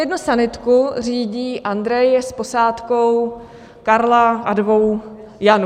Jednu sanitku řídí Andrej s posádkou Karla a dvou Janů.